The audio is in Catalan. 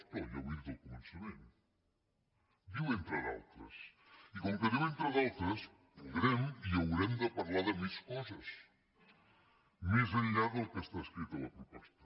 no ja ho he dit al començament diu entre d’altres i com que diu entre d’altres podrem i haurem de parlar de mes coses més enllà del que està escrit en la proposta